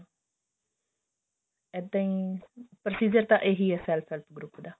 ਏਦਾਂ ਹੀ procedure ਤਾਂ ਇਹੀ ਹੈ ਸਾਰੇ self help group